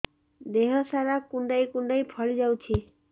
ଦେହ ସାରା କୁଣ୍ଡାଇ କୁଣ୍ଡାଇ ଫଳି ଯାଉଛି